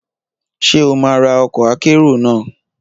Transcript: Ṣé o máa ra ọkọ̀ akérò náà?